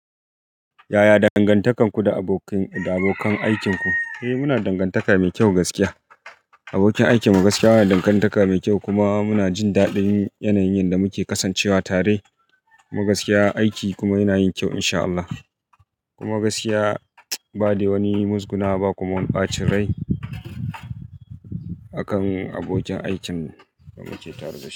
Yaya dangantakarku da abokan aikinku? Eh muna dangantaka mai kyau gaskiya. Abokin aikin mu gaskiya yana dangantaka mai kyau kuma muna jin daɗin yanayin da muke kasancewa tare. Kuma gaskiya, aiki kuma yana yin kyau in sha Allah. Kuma gaskiya ba dai wani muzguna wa ba kuma wani ɓacin rai akan abokin aikin da muke tare da shi.